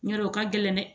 Ɲɛr'o ka gɛlɛn dɛ